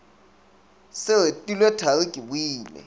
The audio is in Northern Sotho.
se retilwe thari ke boile